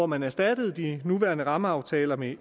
man erstatter de nuværende rammeaftaler med